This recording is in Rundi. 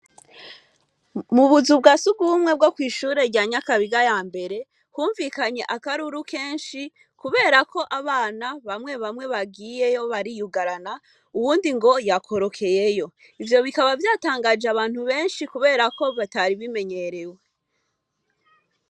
Mu buzu bwa surwumwe bwo kw'ishure rya Nyakabiga ya mbere humvikanye akaruru kenshi kubera ko abana bamwe bamwe bagiyeyo bariyugarana, uwundi ngo yakorokeyeyo. Ivyo bikaba vyatangaje abantu benshi kubera ko bitari bimenyerewe.